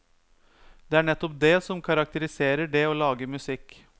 Det er nettopp det som karakteriserer det å lage musikk.